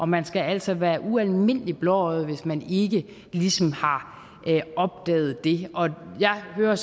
man skal altså være ualmindelig blåøjet hvis man ikke ligesom har opdaget det jeg hører